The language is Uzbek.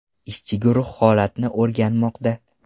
Ishchi guruh holatni o‘rganmoqda.